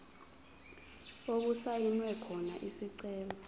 okusayinwe khona isicelo